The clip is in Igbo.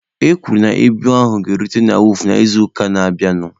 E kwuru na ibu ahụ ga-erute na wọọfụ n'izuụka na-abịanụ.